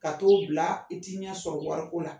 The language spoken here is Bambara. Ka t'o bila i t'i ɲɛ sɔrɔ wariko la.